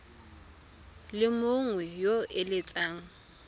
le mongwe yo o eletsang